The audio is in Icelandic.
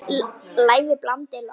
Lævi blandið loft.